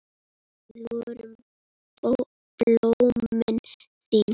Við vorum blómin þín.